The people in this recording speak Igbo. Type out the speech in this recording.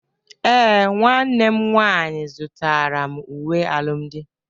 Ee, nwanne m nwaanyị zụtara m uwe alụmdi.